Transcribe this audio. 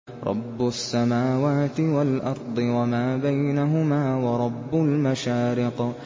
رَّبُّ السَّمَاوَاتِ وَالْأَرْضِ وَمَا بَيْنَهُمَا وَرَبُّ الْمَشَارِقِ